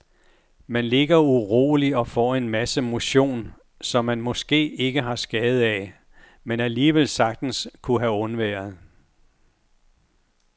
Man ligger uroligt og får en masse motion, som man måske ikke har skade af, men alligevel sagtens kunne have undværet.